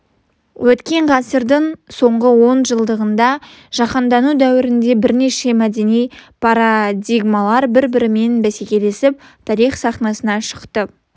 өткен ғасырдың соңғы он жылдығында жаһандану дәуірінде бірнеше мәдени парадигмалар бір-бірімен бәсекелесіп тарих сахнасына шықты